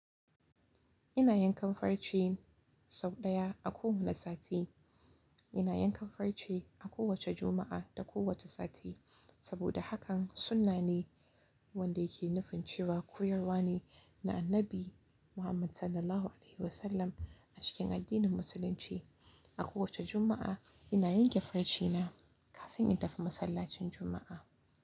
Ina yankan farce sau ɗaya a kowane sati. Ina yankan farce a kowace Juma'a da kowace sati saboda hakan sunna ne wanda yake nufin cewa koyarwa ne na Annabi Muhammad SAW a cikin addinin Musulunci. A kowace Juma'a ina yanke farce na kafin in tafi masallacin Juma'a.